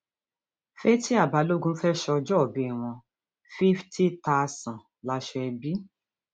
fatia balogun fẹẹ sọjọọbí wún fíftì tásán láṣọ ẹbí